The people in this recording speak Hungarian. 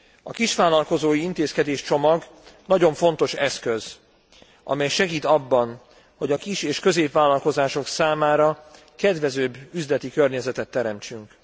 A kisvállalkozói intézkedéscsomag nagyon fontos eszköz, amely segít abban, hogy a kis és középvállalkozások számára kedvezőbb üzleti környezetet teremtsünk.